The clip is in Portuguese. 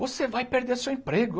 Você vai perder seu emprego.